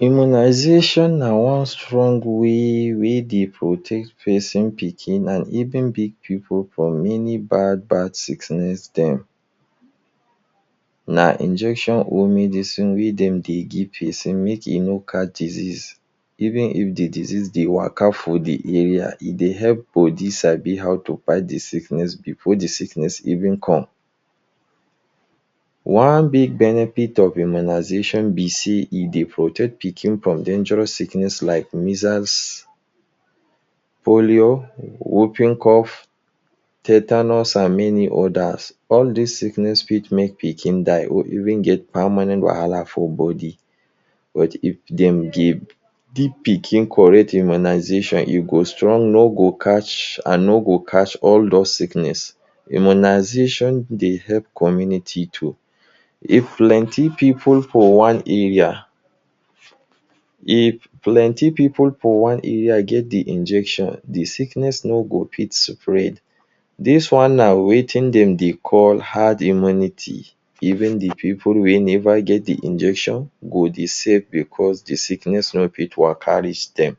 Immunization na one strong way wey dey protect pesin pikin and even big pipu from any bad bad sickness dem. Na injection own medicine wey dem dey give pesin make pesin no catch disease even if de disease dey waka for de area. E dey help body sabi how to fight de sickness before the sickness even come. One big benefit of immunization be sey, e dey protect pikin from dangerous sickness like measles, polio, whooping cough, tetanus and many others. All dis sickness fit make pikin die or even get permanent wahala for body. But if dem give pikin correct immunization, e go strong no go catch and no go catch all those sickness. Immunization dey help community too. If plenty pipu for one area if plenty pipu for one area get de injection, de sickness no go fit spread. Dis one na wetin dem dey call ‘Hard Immunity’. Even de pipu wey never get de injection go dey safe because de sickness no fit waka reach dem.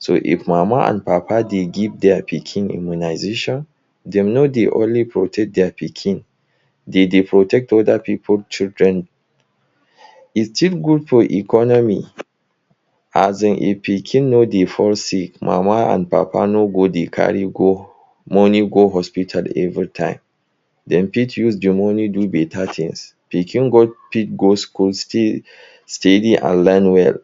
So, if mama and papa dey give dia pikin immunization, dem no dey only protect dia pikin, dem dey protect other pipu children. De thing good for economy, as in, if pikin no dey fall sick, mama and papa no go dey carry go money go hospital every time. Dem fit use de money do better things. Pikin go fit go school, stay steady and learn well.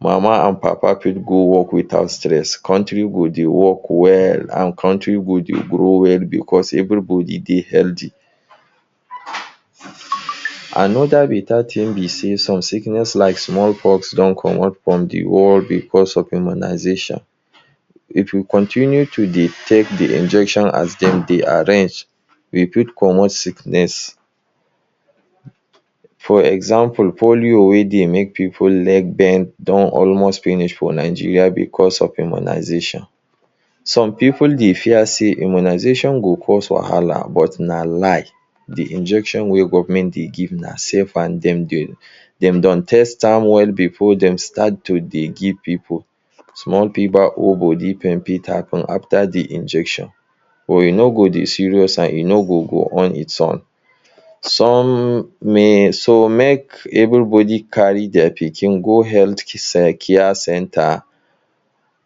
Mama and papa fit go work without stress. Country go dey work well and country go dey grow well because everybody dey healthy. Another better thing be sey some sickness like small pox don comot from de world because of immunization. If we continue to dey take de injection as dem dey arrange, we fit comot sickness. For example, polio wey dey make pipu leg bend don almost finish for Nigeria because of immunization. Some pipu dey fear sey immunization go cause wahala but na lie. De injection wey government dey give na safe and dem dem don test am well before dem start to dey give pipu. Small fever or body pain fit happen after de injection, but e no go dey serious and e no go go on its on. Some so make everybody carry dia pikin go health center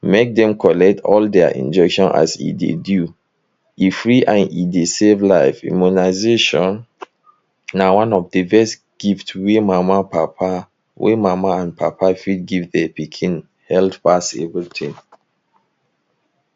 make dem collect all dia injection as e dey due. E free and e dey save life. Immunization na one one of de best gift wey mama papa wey mama and papa fit give dem pikin health pass everything.